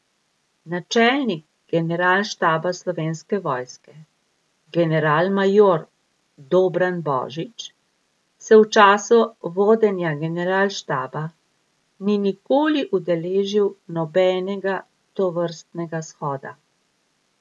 Načelnik Generalštaba Slovenske vojske generalmajor Dobran Božič se v času vodenja generalštaba ni nikoli udeležil nobenega tovrstnega shoda.